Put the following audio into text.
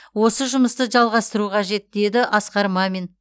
осы жұмысты жалғастыру қажет деді асқар мамин